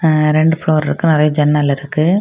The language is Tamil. அ ரெண்டு ப்ளோர் இருக்கு நிறைய ஜன்னல் இருக்கு.